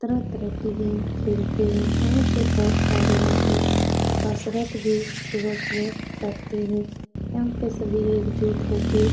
तरह-तरह के गेम खेलते। यहाँ पे बोहोत सारे आदमी कसरत भी सुबह-सुबह करते हैं। यहाँ पे सभी एकजुट होके --